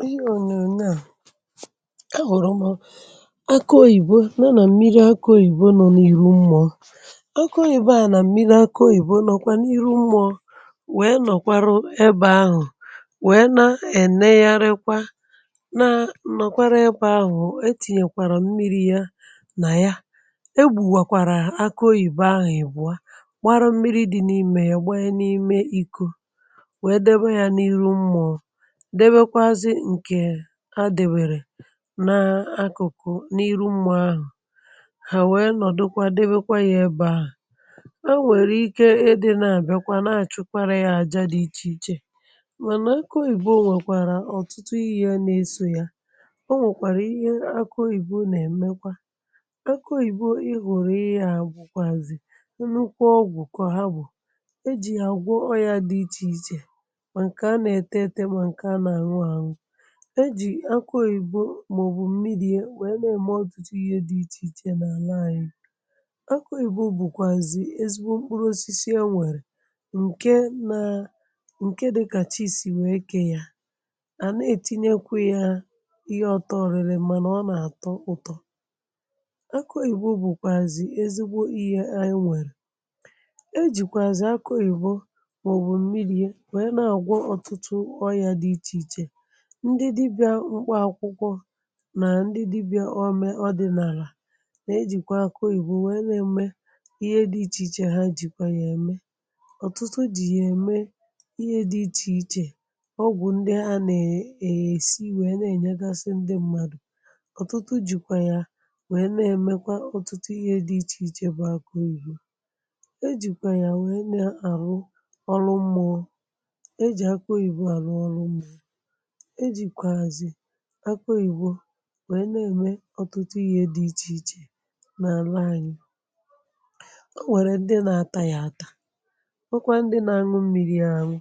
n’ihe ònyònyo à, a hụ̀rụ̀ m akụ̀ oyìbo nọ nà mmiri akụ̀ òyìbo nọ̀ n’ihu m̀mụọ akọ oyìbe a nà mmiri akụ̀ òyìbo nọ̀kwa n’ihu m̀mụọ wèe nọ̀kwarụ ebė ahụ̀ wèe na-enegharịkwa na nọ̀kwara ebė ahụ̀ etinyekwàrà m̀miri ya nà ya egbùwàkwàrà akụ̀ òyìbo ahụ̀ ìbụ̀ọ gbarụ mmiri dị n’ime ya gbanye n’ime iko wee debe ya n'iru mmuo, debekwazi nke ha debere na akuku n'iru mmuo ahu, ha wee nodukwa debekwa ya ebe ahu, enwere ike idi n'achunyere ya aja di iche iche mana aku oyibo nwekwara otutu ihe n'eso ya o nwekwara ihe aku oyibo n'emekwa aku oyibo ihuru ihe a bukwazi nnukwuu ogwu ka ha bu eji ya agwo oya di iche iche ma nke a na ete ete ma nke a na anu anu, e jì akụ oyìbo mà ọ̀bụ̀ mmiri ya n'eme ọtụtụ ihė dị ichè ichè n’àlà ànyị akụ oyibo bùkwàzì ezigbo mkpụrụ osisi e nwèrè ǹke na ǹke dịkàchì sì wèe ke yà à nàghi ètinyekwa ya ihe ọtọ orìri mànà ọ nà-àtọ ụtọ aku oyibo bùkwàzì ezigbo ihė anyị nwèrè e jìkwàzì akọ oyibo maobu mmiri ya wee n'agwo oya di iche iche ndị dibịa mkpa akwụkwọ nà ndị dibịa o mee ọdịnalà na-ejìkwa akụ oyibò wee na-eme ihe dị ichè ichè ha jìkwa ya eme ọ̀tụtụ jì yà ème ihe dị ichè ichè ọgwụ̀ ndị a na-esì wee na-enyegasì ndị mmadụ̀ ọ̀tụtụ jìkwa ya wee na-emekwa ọ̀tụtụ ihe dị ichè ichè bụ̀ e jìkwa ya nwee na-arụ ọrụ mmụọ eji aku oyibo aru oru mmuo ejikwazi aku oyibo wee n'ème ọtụtụ ihė dị ichèichè n’àla ànyị ọ nwẹ̀rẹ̀ ndị nȧ atȧ yà atȧ nwekwa ndị nȧ anu mmiri̇ ya anu